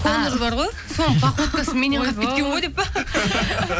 конор бар ғой соның походкасы меннен қалып кеткен ғой деп пе